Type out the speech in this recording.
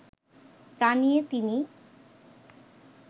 তা নিয়ে তিনি